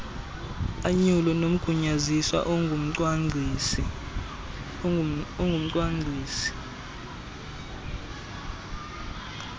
anyule nomgunyaziswa ongumcwangcisi